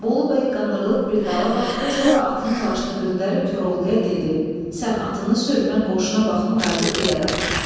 Bolu bəy qandırılıb bir dala baxdı, sonra atının başını döndərib Koroğluya dedi: "Sən atını sür, mən qoşuna baxım qayıdıb deyərəm."